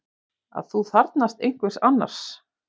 Að þú þarfnast einhvers annars.